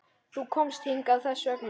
Þú komst hingað þess vegna.